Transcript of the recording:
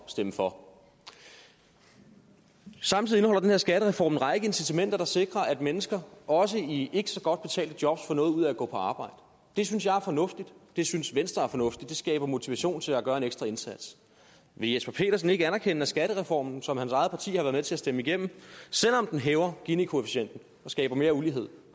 stemme for samtidig indeholder den her skattereform en række incitamenter der sikrer at mennesker også i ikke så godt betalte jobs får noget ud af at gå på arbejde det synes jeg er fornuftigt det synes venstre er fornuftigt det skaber motivation til at gøre en ekstra indsats vil jesper petersen ikke anerkende at skattereformen som hans eget parti har været med til at stemme igennem selv om den hæver ginikoefficienten og skaber mere ulighed